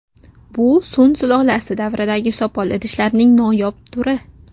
Bu Sun sulolasi davridagi sopol idishlarning noyob turi.